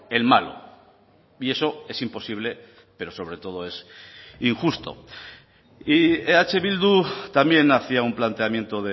en malo y eso es imposible pero sobre todo es injusto y eh bildu también hacía un planteamiento